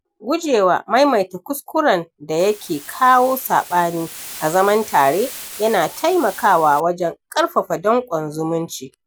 Gujewa maimaita kuskuren da ya ke kawo saɓani a zaman tare yana taimakawa wajen ƙarfafa danƙon zumunci